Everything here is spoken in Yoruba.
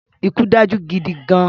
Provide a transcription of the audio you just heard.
Ikú dájú gidi gan-an